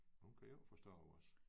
Hun kan jo ikke forstå os